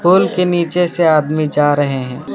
पुल के नीचे से आदमी जा रहे हैं।